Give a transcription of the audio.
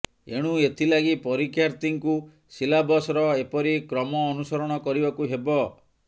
ଏଣୁ ଏଥିଲାଗି ପରୀକ୍ଷାର୍ଥୀଙ୍କୁ ସିଲାବସର ଏପରି କ୍ରମ ଅନୁସରଣ କରିବାକୁ ହେବ